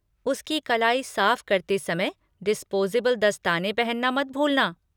उसकी कलाई साफ़ करते समय डिस्पोज़ेबल दस्ताने पहनना मत भूलना।